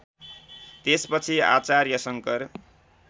त्यसपछि आचार्य शङ्कर